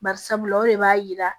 Bari sabula o de b'a yira